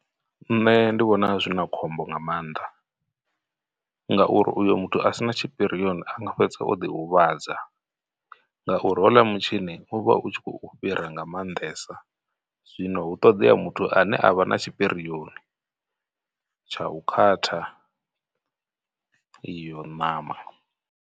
Nṋe ndi vhona zwi na khombo nga maanḓa, ngauri uyo muthu a sina tshipirioni anga fhedza o ḓi huvhadza, ngauri hoḽa mutshini u vha u tshi khou u fhira nga maanḓesa. Zwino hu ṱoḓea muthu ane avha na tshipirioni tsha u khatha iyo ṋama.